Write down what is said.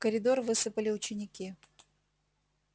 в коридор высыпали ученики